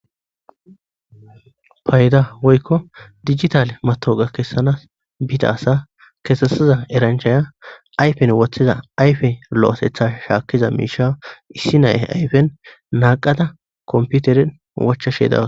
Payda woyko digital matawoqa kessana bida asa kesisiza eranchaya ayfen wothiza ayfe lo'otha shakiza miisha issi nayi ayfen naaqada kompiteren wochashe daws.